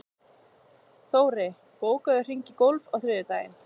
Þóri, bókaðu hring í golf á þriðjudaginn.